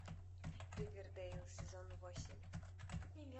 ривердейл сезон восемь